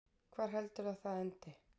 Hvar heldurðu að það endi?